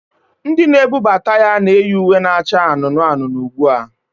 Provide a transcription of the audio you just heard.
Ndị na-ebubata ya na-eyi uwe na-acha anụnụ anụnụ ugbu a